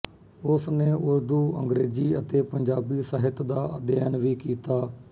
ਉਸ ਨੇ ਉਰਦੂ ਅੰਗਰੇਜ਼ੀ ਅਤੇ ਪੰਜਾਬੀ ਸਾਹਿਤ ਦਾ ਅਧਿਐਨ ਵੀ ਕੀਤਾ